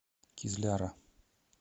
кизляра